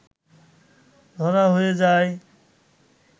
ধরা হয়ে যায়